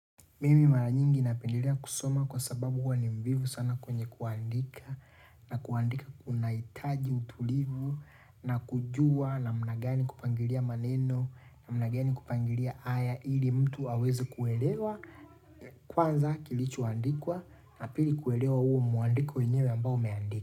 Mimi mara nyingi napendilea kusoma kwa sababu huwa ni mvivu sana kwenye kuandika na kuandika kuna hitaji utulivu na kujua namna gani kupangilia maneno namna gani kupangilia aya ili mtu aweze kuelewa kwanza kilichoandikwa na pili kuelewa huo mwandiko enyewe ambao umeandikwa.